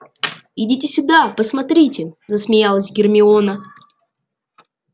идите сюда посмотрите засмеялась гермиона